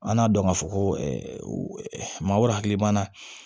An k'a dɔn ka fɔ ko maa wɛrɛ hakili b'a la